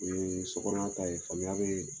musokɔnɔma ta ye faamuyali bɛ yen